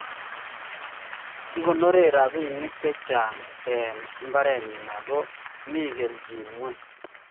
Kikonore robinik chechang eng mbarenyii ago mi keljin ngweny